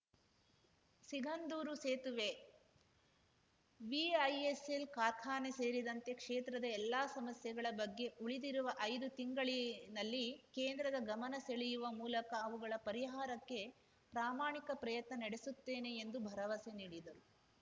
ಸಿಗಂದೂರು ಸೇತುವೆ ವಿಐಎಸ್‌ಎಲ್‌ ಕಾರ್ಖಾನೆ ಸೇರಿದಂತೆ ಕ್ಷೇತ್ರದ ಎಲ್ಲಾ ಸಮಸ್ಯೆಗಳ ಬಗ್ಗೆ ಉಳಿದಿರುವ ಐದು ತಿಂಗಳಿನಲ್ಲಿ ಕೇಂದ್ರದ ಗಮನ ಸೆಳೆಯುವ ಮೂಲಕ ಅವುಗಳ ಪರಿಹಾರಕ್ಕೆ ಪ್ರಾಮಾಣಿಕ ಪ್ರಯತ್ನ ನಡೆಸುತ್ತೇನೆ ಎಂದು ಭರವಸೆ ನೀಡಿದರು